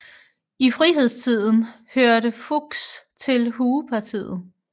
I frihedstiden hørte Fuchs til Huepartiet